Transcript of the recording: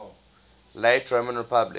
late roman republic